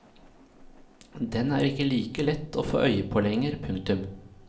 Den er ikke like lett å få øye på lenger. punktum